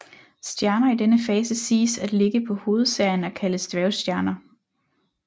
Stjerner i denne fase siges at ligge på hovedserien og kaldes dværgstjerner